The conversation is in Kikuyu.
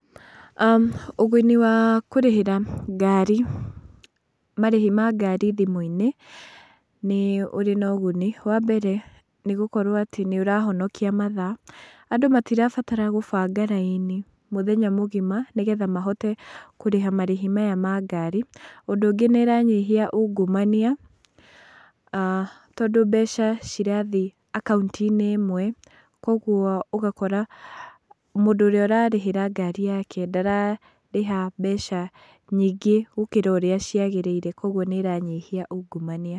Ũguni wa kũrĩhĩra ngari, marĩhi wa ngari thimũ-inĩ nĩ ũrĩ na ũguni. Wambere nĩ gũkorwo atĩ nĩ ũrahonokia mathaa, andũ matirabatara kũbanga raini mũthenya mũgima nĩgetha mahote kũrĩha marĩhi maya ma ngari. Ũndũ ũngĩ nĩ ĩranyihia ungumania, tondũ mbeca cirathiĩ akaunti-inĩ ĩmwe, koguo ũgakora mũndũ ũrĩa ũrarĩhĩra ngari yake ndararĩha mbeca nyingĩ gũkĩra urĩa ciagĩrĩire koguo nĩ ĩranyihia ungumania.